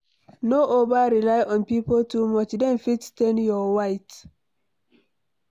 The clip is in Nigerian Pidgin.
No over rely on pipo too much dem fit stain your white